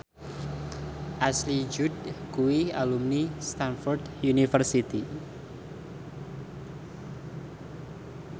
Ashley Judd kuwi alumni Stamford University